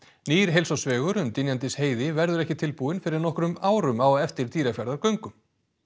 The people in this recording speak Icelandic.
nýr heilsársvegur um Dynjandisheiði verður ekki tilbúinn fyrr en nokkrum árum á eftir Dýrafjarðargöngum